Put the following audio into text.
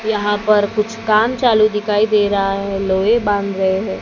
यहां पर कुछ काम चालू दिखाई दे रहा है लोहे बांध रहे हैं।